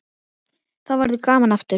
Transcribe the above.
Þá verður gaman aftur.